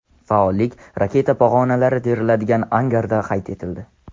Faollik raketa pog‘onalari teriladigan angarda qayd etildi.